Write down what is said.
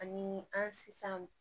Ani an si san